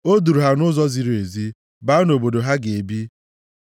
O duuru ha nʼụzọ ziri ezi baa nʼobodo ha ga-ebi.